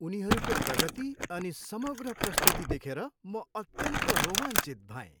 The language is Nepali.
उनीहरूको प्रगति अनि समग्र प्रस्तुति देखेर म अत्यन्त रोमाञ्चित भएँ।